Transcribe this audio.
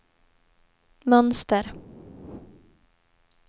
mönster